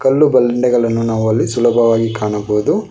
ಕಲ್ಲು ಬಂಡೆಗಳನ್ನು ನಾವು ಅಲ್ಲಿ ಸುಲಭವಾಗಿ ಕಾಣಬಹುದು.